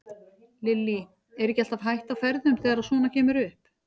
Lillý: Er ekki alltaf hætta á ferðum þegar að svona kemur upp?